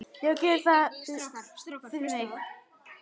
Já, gerðu það fyrir mig!